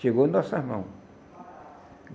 Chegou em nossas mãos.